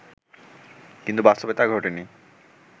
কিন্তু বাস্তবে তা ঘটেনি